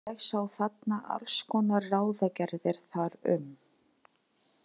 Ég sá þarna alls konar ráðagerðir þar um.